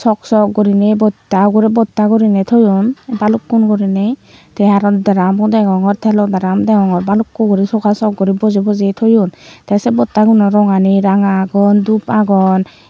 sok sok gurine botta ugure botta urine toyon balukkun gurine te aro drum o degongor telo drum degongor balukko guri soga sok guri boje boje toyon te se botta guno rongani ranga agon dup agon.